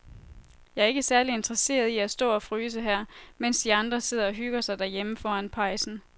Jeg er ikke særlig interesseret i at stå og fryse her, mens de andre sidder og hygger sig derhjemme foran pejsen.